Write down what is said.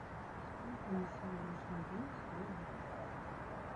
сколько на сегодняшний день стоит бакс